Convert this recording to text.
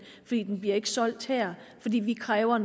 ikke bliver solgt her fordi vi kræver